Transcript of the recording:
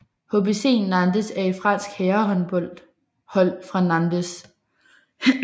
HBC Nantes er et fransk herrehåndboldhold fra Nantes